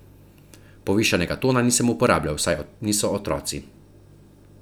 Povišanega tona nisem uporabljal, saj niso otroci.